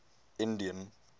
indian